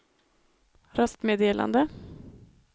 röstmeddelande